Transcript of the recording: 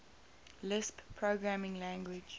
lisp programming language